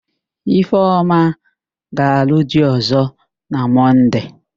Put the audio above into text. Ifeoma ga-alụ di ọ̀zọ́ na Mọnde.